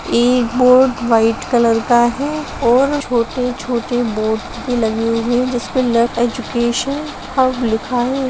इ board white colour का है और छोटे-छोटे बोर्ड भी लगे हुए है जिसपे ल एजुकेशन हब लिखा है।